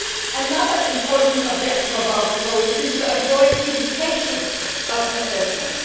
Another important objective of our proposal is to avoid duplication of assessments.